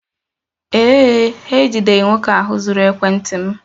Ee e, ha ejideghị nwoke ahụ zuru ekwentị m